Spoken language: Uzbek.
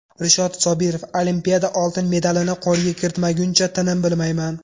Rishod Sobirov: Olimpiada oltin medalini qo‘lga kiritmaguncha tinim bilmayman.